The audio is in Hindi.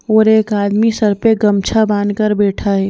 और एक आदमी सर पे गमछा बांध कर बैठा है।